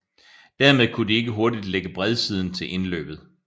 Dermed kunne de ikke hurtigt lægge bredsiden til indløbet